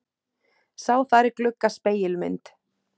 Sá þar í glugga spegilmynd.